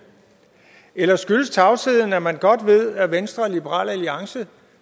eller skyldes tavsheden at man godt ved at venstre og liberal alliance